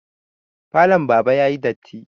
Falon baba yayi datti